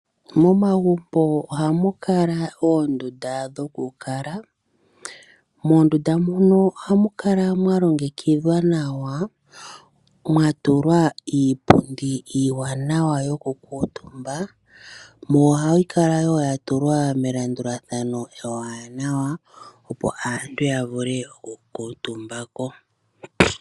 Momagumbo ohamu kala oondunda dhokukala. Moondunda mono ohamu kala mwa longekidhwa nawa, mwa tulwa iipundi iiwaanawa yokukuutumba, yo ohayi kala ya tulwa melandulathano ewaanawa, opo aantu ya vule okukuutumba ko.